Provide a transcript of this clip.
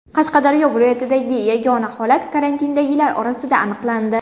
Qashqadaryo viloyatidagi yagona holat karantindagilar orasida aniqlandi.